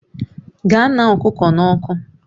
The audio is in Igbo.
Gaa ṅaa ọkụkọ n'ọkụ!